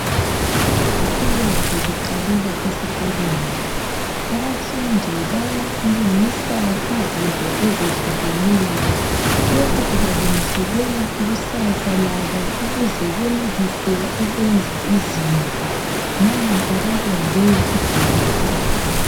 Ulwazi luqalela esikolweni, abafundi balungisa izinto ezehlukeneyo. Lokhu kubalungiselela ikusasa labo ukuze benelise ukwenza izinto, nampa babumbe ibhasi.